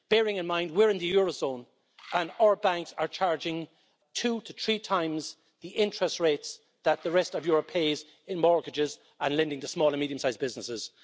Bearing in mind we're in the eurozone and our banks are charging two to three times the interest rates that the rest of Europe pays in mortgages and lending to small and medium sized businesses.